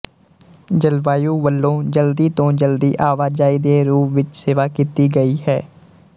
ਜਲਵਾਯੂ ਵੱਲੋਂ ਜਲਦੀ ਤੋਂ ਜਲਦੀ ਆਵਾਜਾਈ ਦੇ ਰੂਪ ਵਿੱਚ ਸੇਵਾ ਕੀਤੀ ਗਈ ਹੈ